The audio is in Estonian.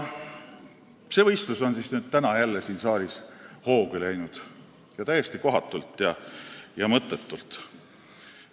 " See võistlus on siis täna jälle siin saalis hoogu läinud ning täiesti kohatult ja mõttetult.